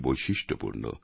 বৈশিষ্ট্য পূর্ণ